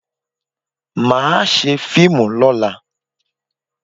Màá ṣe fíìmù lọ́la.